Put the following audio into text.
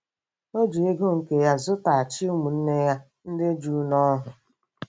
O ji ego nke ya zụtaghachi ụmụnne ya ndị Juu n'ohu.